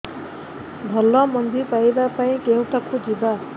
ଭଲ ମଞ୍ଜି ପାଇବା ପାଇଁ କେଉଁଠାକୁ ଯିବା